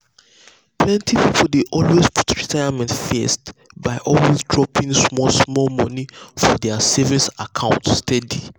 plenty people dey put retirement first by always dropping dropping small small money for their savings account steady.